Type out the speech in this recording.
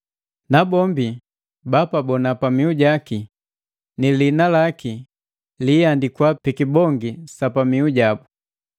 Bapabona pamiu jaki, ni lihina laki liihandikwa pi kibongi sa pamihu jaki.